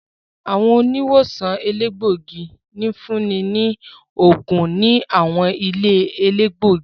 Àwọn oniwosan elegbogi ǹfuni ni óogun ni àwọn ìlé-elegbogi.